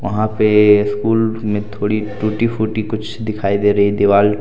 वहां पे स्कूल में थोड़ी टूटी फूटी कुछ दिखाई दे रही है दीवाल।